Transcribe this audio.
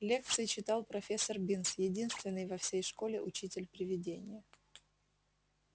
лекции читал профессор бинс единственный во всей школе учитель-привидение